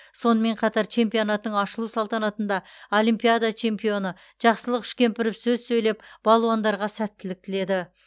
сонымен қатар чемпионаттың ашылу салтанатында олимпиада чемпионы жақсылық үшкемпіров сөз сөйлеп балуандарға сәттілік тіледі